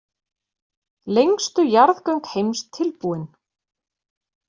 Lengstu jarðgöng heims tilbúin